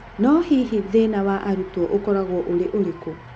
No hihi thĩna wa arutwo ũkoragũo ũrĩũrĩkũ ?